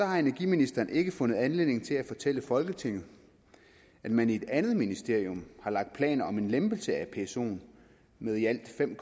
har energiministeren ikke fundet anledning til at fortælle folketinget at man i et andet ministerium har lagt planer om en lempelse af psoen med i alt fem